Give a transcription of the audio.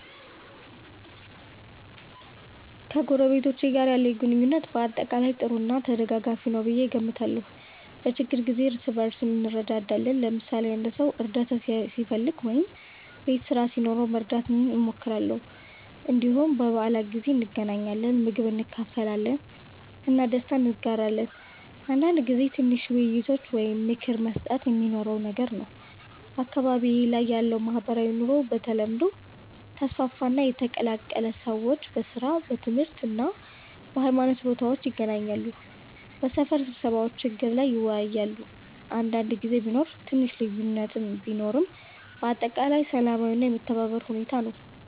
ከጎረቤቶቼ ጋር ያለኝ ግንኙነት በአጠቃላይ ጥሩ እና ተደጋጋፊ ነው ብዬ እገምታለሁ። በችግኝ ጊዜ እርስ በእርስ እንረዳዳለን፣ ለምሳሌ አንድ ሰው እርዳታ ሲፈልግ ወይም ቤት ስራ ሲኖረው መርዳት እንሞክራለን። እንዲሁም በበዓላት ጊዜ እንገናኛለን፣ ምግብ እንካፈላለን እና ደስታ እንጋራለን። አንዳንድ ጊዜ ትንሽ ውይይቶች ወይም ምክር መስጠት የሚኖረውም ነገር ነው። አካባቢዬ ላይ ያለው ማህበራዊ ኑሮ በተለምዶ ተስፋፋ እና የተቀላቀለ ነው። ሰዎች በሥራ፣ በትምህርት እና በሃይማኖት ቦታዎች ይገናኛሉ፣ በሰፈር ስብሰባዎችም ችግር ላይ ይወያያሉ። አንዳንድ ጊዜ ቢኖር ትንሽ ልዩነት ቢኖርም በአጠቃላይ ሰላማዊ እና የመተባበር ሁኔታ ነው።